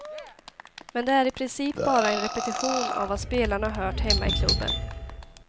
Men det är i princip bara en repetition av vad spelarna hört hemma i klubben.